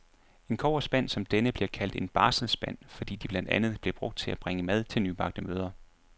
En kobberspand som denne bliver kaldt en barselsspand, fordi de blandt andet blev brugt til at bringe mad til nybagte mødre.